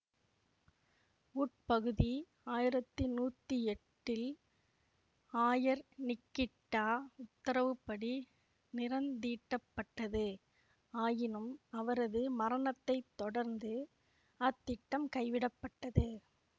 உட்பகுதி ஆயிரத்தி நூத்தி எட்டில் ஆயர் நிக்கிட்டா உத்தரவு படி நிறந்தீட்டப்பட்டது ஆயினும் அவரது மரணத்தை தொடர்ந்து அத்திட்டம் கைவிடப்பட்டது